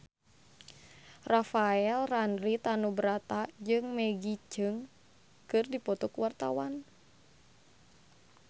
Rafael Landry Tanubrata jeung Maggie Cheung keur dipoto ku wartawan